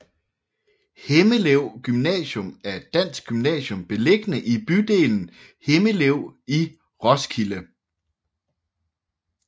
Himmelev Gymnasium er et dansk gymnasium beliggende i bydelen Himmelev i Roskilde